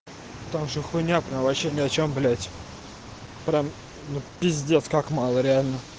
там же хуйня прям вообще ни о чем блядь прям пиздец как мало реально